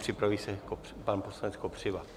Připraví se pan poslanec Kopřiva.